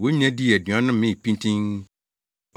Wɔn nyinaa dii aduan no mee pintinn.